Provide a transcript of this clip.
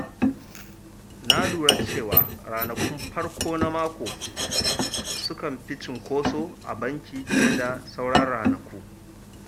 Na lura cewa ranakun farko na mako sukan fi cinkoso a banki fiye da sauran ranaku.